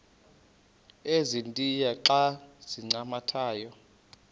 ezintia xa zincathamayo